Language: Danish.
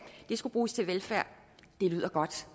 det skulle bruges til velfærd det lyder godt